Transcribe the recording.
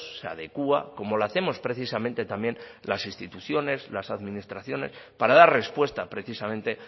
se adecúa como lo hacemos precisamente también las instituciones las administraciones para dar respuesta precisamente